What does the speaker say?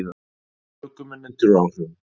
Ökumenn undir áhrifum